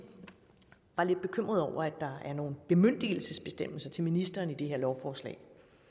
var lidt bekymret over at der er nogle bemyndigelsesbestemmelser til ministeren i det her lovforslag